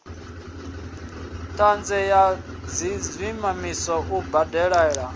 ṱahe ya dziminisiṱa u dalela